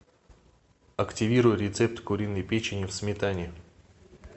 активируй рецепт куриной печени в сметане